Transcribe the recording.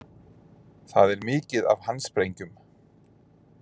Það er mikið af handsprengjum